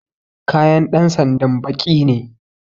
Kayan dan sanda baƙi ne